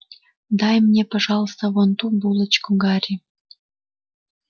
дай мне пожалуйста вон ту булочку гарри